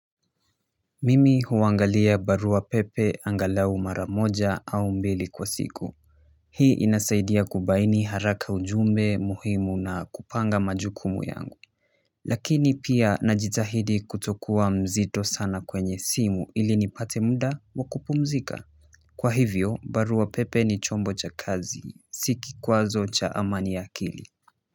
Mimi huangalia barua pepe angalau mara moja au mbili kwa siku hii inasaidia kubaini haraka ujumbe muhimu na kupanga majukumu yangu lakini pia najitahidi kutokua mzito sana kwenye simu ili nipate muda wa kupumzika kwa hivyo barua pepe ni chombo cha kazi si kikwazo cha amani ya akili.